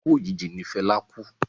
Ikú òjijì ní Fẹlá kú.